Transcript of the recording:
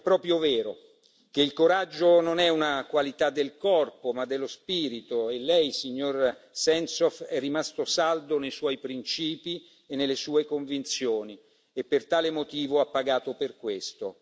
È proprio vero che il coraggio non è una qualità del corpo, ma dello spirito, e lei, signor Sentsov, è rimasto saldo nei suoi principi e nelle sue convinzioni, e per tale motivo ha pagato per questo.